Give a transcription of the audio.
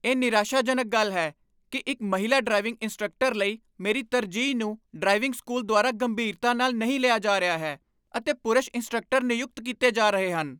ਇਹ ਨਿਰਾਸ਼ਾਜਨਕ ਗੱਲ ਹੈ ਕਿ ਇੱਕ ਮਹਿਲਾ ਡਰਾਈਵਿੰਗ ਇੰਸਟ੍ਰਕਟਰ ਲਈ ਮੇਰੀ ਤਰਜੀਹ ਨੂੰ ਡਰਾਈਵਿੰਗ ਸਕੂਲ ਦੁਆਰਾ ਗੰਭੀਰਤਾ ਨਾਲ ਨਹੀਂ ਲਿਆ ਜਾ ਰਿਹਾ ਹੈ, ਅਤੇ ਪੁਰਸ਼ ਇੰਸਟ੍ਰਕਟਰ ਨਿਯੁਕਤ ਕੀਤੇ ਜਾ ਰਹੇ ਹਨ।